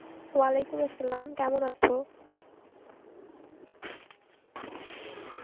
Arbi কেমন আছো?